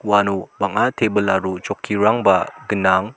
uano bang·a tebil aro chokkirangba gnang.